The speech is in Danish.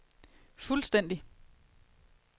fuldstændig